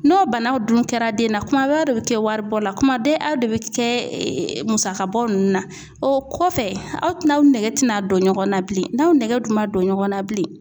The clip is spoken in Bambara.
N'o banaw dun kɛra den na, kuma bɛɛ aw de bɛ kɛ waribɔ la, kuma bɛɛ aw de bɛ kɛ musaka bɔ ninnu na, o kɔfɛ aw tɛ n'aw nege tɛna don ɲɔgɔn na bilen n'aw nege dun ma don ɲɔgɔn na bilen